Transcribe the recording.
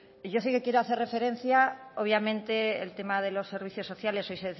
yo sí que quiero hacer referencia obviamente el tema de los servicios sociales hoy